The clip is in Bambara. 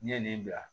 N'i ye nin bila